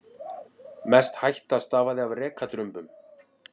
Mest hætta stafaði af rekadrumbum.